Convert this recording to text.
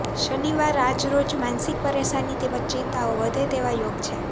શનિવાર આજરોજ માનસીક પરેશાની તેમજ ચિંતાઓ વધે તેવા યોગ છે